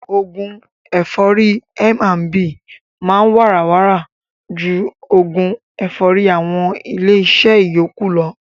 Oògún ẹ̀fọ́rì M&B máa ń wàrà wàrà ju oògún ẹ̀fọ́rì àwọn ilé iṣẹ́ yókù lọ.